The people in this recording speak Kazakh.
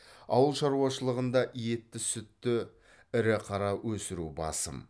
ауыл шаруашылығында етті сүтті ірі қара өсіру басым